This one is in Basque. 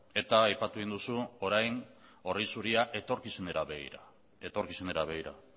eta aipatu egin duzu orain orri zuria etorkizunera begira etorkizunera begira